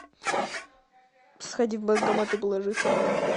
сходи в банкомат и положи сам